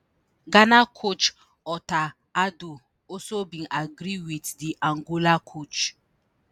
ghana coach otto addo also bin agree wit di angola coach.